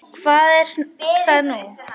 Hvað er það nú?